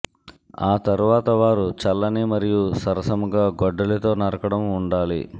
ఆ తర్వాత వారు చల్లని మరియు సరసముగా గొడ్డలితో నరకడం ఉండాలి